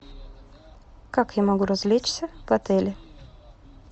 как я могу развлечься в отеле